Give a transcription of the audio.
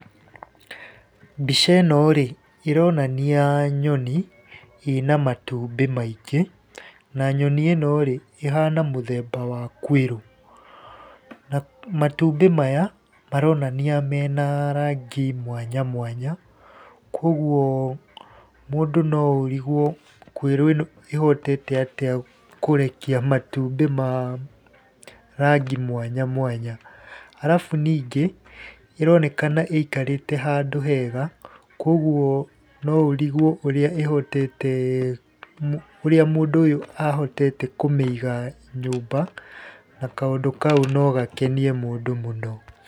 Mbica ĩno rĩ ĩronania nyoni ĩna matumbĩ maingĩ, na nyoni ĩno rĩ, ĩhana mũthemba wa kwĩrũ. Matumbĩ maya maronania mena rangi mwanya mwanya, kuũguo mũndũ noũrigwo kũirũ ĩno ĩhotete atĩa kũrekia matumbĩ ma rangĩ mwanya mwanya. Arabu ningĩ ĩronekana ĩikarĩte kandũ hega kuũguo no ũrigwo ũrĩa ĩhotete , ũrĩa mũndũ ũyũ ahotete kũmĩiga nyũmba na kaũndũ kau no gakenie mũndũ mũno.